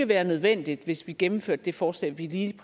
være nødvendigt hvis vi gennemførte det forslag vi lige